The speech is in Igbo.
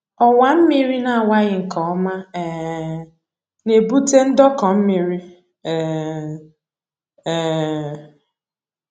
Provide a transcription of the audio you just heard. Ọwa mmiri na-awaghị nke ọma um na-ebute ndọkọ mmiri um um